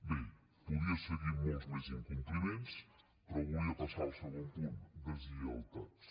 bé podria seguir amb molts més incompliments però volia passar al segon punt deslleialtats